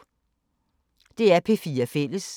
DR P4 Fælles